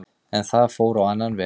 En það fór á annan veg